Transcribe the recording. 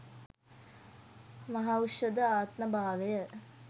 මහෞෂධ ආත්ම භාවය